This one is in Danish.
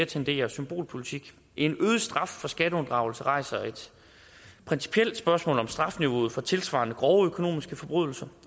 tenderer symbolpolitik en øget straf for skatteunddragelse rejser et principielt spørgsmål om strafniveauet for tilsvarende grove økonomiske forbrydelser